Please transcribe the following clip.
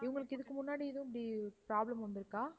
இவங்களுக்கு இதுக்கு முன்னாடி எதுவும் இப்படி problem வந்துருக்கா?